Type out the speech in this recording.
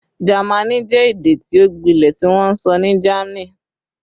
Jẹmánì jẹ ede ti o gbilẹ tiwonso ni Germany